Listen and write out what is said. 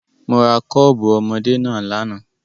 Mo ra kọ́ọ̀bù ọmọdé náà lánàá.